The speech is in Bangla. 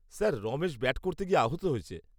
স্যার, রমেশ ব্যাট করতে গিয়ে আহত হয়েছে।